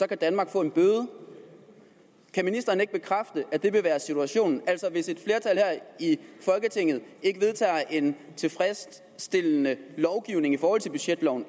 kan danmark få en bøde kan ministeren ikke bekræfte at det vil være situationen altså hvis et i folketinget ikke vedtager en tilfredsstillende budgetlov